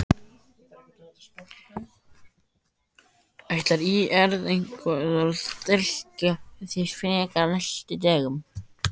Ætlar ÍR eitthvað að styrkja sig frekar á næstu dögum?